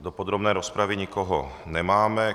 Do podrobné rozpravy nikoho nemáme.